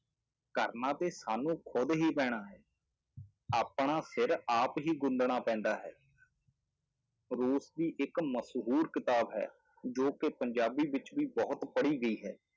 ਕਰਨਾ ਤੇ ਸਾਨੂੰ ਖੁੱਦ ਹੀ ਪੈਣਾ ਹੈ ਆਪਣਾ ਸਿਰ ਆਪ ਹੀ ਗੁੰਦਣਾ ਪੈਂਦਾ ਹੈ ਰੂਸ ਦੀ ਇੱਕ ਮਸ਼ਹੂਰ ਕਿਤਾਬ ਹੈ ਜੋ ਕਿ ਪੰਜਾਬੀ ਵਿੱਚ ਵੀ ਬਹੁਤ ਪੜ੍ਹੀ ਗਈ ਹੈ।